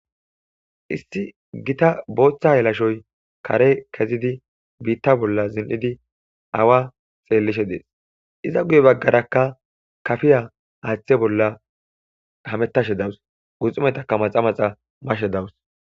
Isti gita booththa helashoy kare kezidi biitta bolla zin7idi awa xeellishe dees iza guye baggarakka kafiya aaththe bolla hametashe dawus guxumetaka maxa maxa mashe dawus.